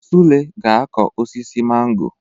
Sule ga-akụ osisi mango